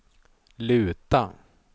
luta